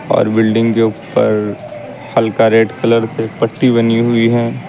और बिल्डिंग के ऊपर हल्का रेड कलर से पट्टी बनी हुई है।